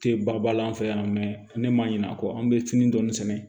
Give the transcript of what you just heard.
Tɛ balan fɛ yan ne m'a ɲin'a kɔ an bɛ sini dɔɔni sɛnɛ